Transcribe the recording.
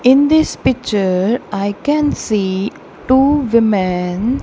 in this picture I can see two women.